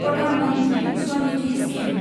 Pradhan Mantri Svanidhi scheme